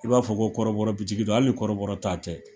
I b'a fɔ ko kɔrɔbɔrɔbitigi don, hali kɔrɔbɔrɔ ta tɛ